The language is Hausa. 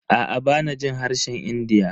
Aa bana jin harshen India.